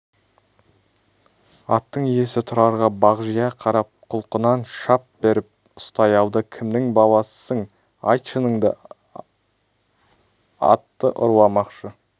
аттың иесі тұрарға бағжия қарап құлқынан шап беріп ұстай алды кімнің баласысың айт шыныңды атты ұрламақшы